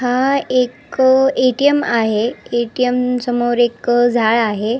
हा एक एटीएम आहे एटीएम समोर एक झाड आहे.